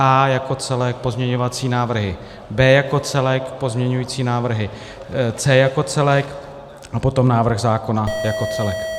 A jako celek, pozměňovací návrhy B jako celek, pozměňující návrhy C jako celek a potom návrh zákona jako celek.